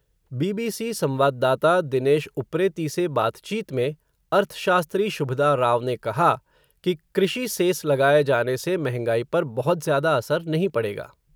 BBC संवाददाता, दिनेश उप्रेती से बातचीत में, अर्थशास्त्री, शुभदा राव ने कहा, कि कृषि सेस लगाए जाने से महंगाई पर बहुत ज़्यादा असर नहीं पड़ेगा.